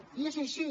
i és així